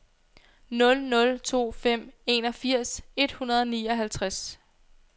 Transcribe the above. nul nul to fem enogfirs et hundrede og nioghalvtreds